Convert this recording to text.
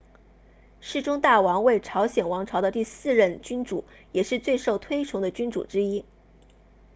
世宗大王为朝鲜王朝的第四任君主也是最受推崇的君主之一